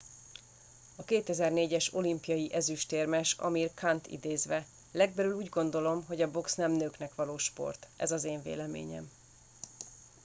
"a 2004-es olimpiai ezüstérmes amir khant idézve: "legbelül úgy gondolom hogy a box nem nőknek való sport. ez az én véleményem.""